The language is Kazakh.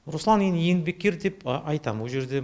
руслан еңбеккер деп айтам ол жерде